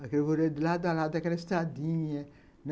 aquele vorelho de lado a lado daquela estradinha.